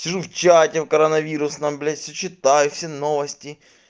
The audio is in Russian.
сижу в чате в коронавирусом блять всё читай все новости